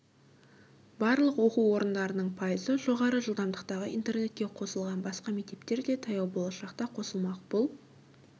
барлық оқу орындарының пайызы жоғары жылдамдықтағы интернетке қосылған басқа мектептер де таяу болашақта қосылмақ бұл